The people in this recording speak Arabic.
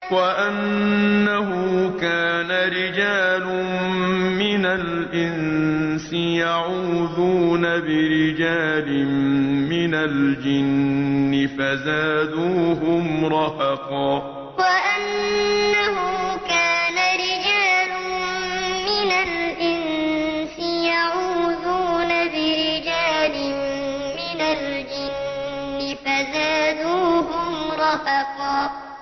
وَأَنَّهُ كَانَ رِجَالٌ مِّنَ الْإِنسِ يَعُوذُونَ بِرِجَالٍ مِّنَ الْجِنِّ فَزَادُوهُمْ رَهَقًا وَأَنَّهُ كَانَ رِجَالٌ مِّنَ الْإِنسِ يَعُوذُونَ بِرِجَالٍ مِّنَ الْجِنِّ فَزَادُوهُمْ رَهَقًا